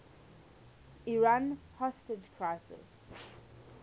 iran hostage crisis